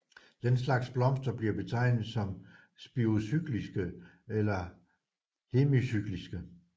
Den slags blomster bliver betegnet som spirocykliske eller hemicykliske